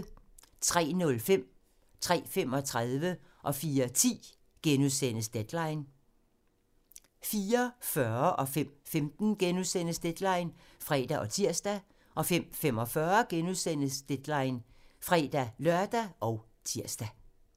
03:05: Deadline * 03:35: Deadline * 04:10: Deadline * 04:40: Deadline *(fre og tir) 05:15: Deadline *(fre og tir) 05:45: Deadline *(fre-lør og tir)